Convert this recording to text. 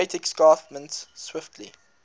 great escarpment swiftly